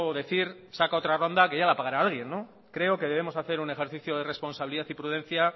decir saca otra ronda que ya la pagará alguien creo que debemos hacer un ejercicio de responsabilidad y prudencia